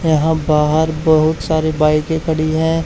यहां बाहर बहुत सारे बाईकें के खड़ी है।